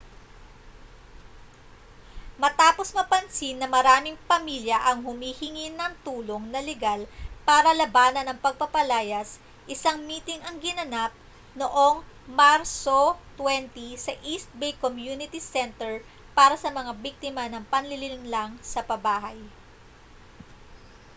matapos mapansin na maraming pamilya ang humihingi ng tulong na legal para labanan ang pagpapalayas isang miting ang ginanap noong marso 20 sa east bay community center para sa mga biktima ng panlilinlang sa pabahay